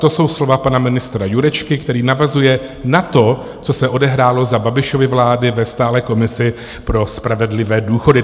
To jsou slova pana ministra Jurečky, který navazuje na to, co se odehrálo za Babišovy vlády ve stálé komisi pro spravedlivé důchody.